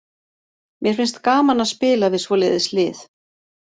Mér finnst gaman að spila við svoleiðis lið.